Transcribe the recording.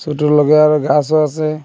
ছোট লগার গাসও আসে।